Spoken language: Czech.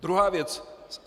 Druhá věc.